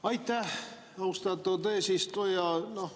Aitäh, austatud eesistuja!